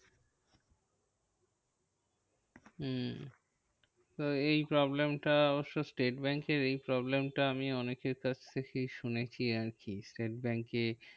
হম তা এই problem টা অবশ্য স্টেট ব্যাঙ্কের এই problem টা আমি অনেকের কাছ থেকেই শুনেছি আরকি? স্টেট ব্যাঙ্কে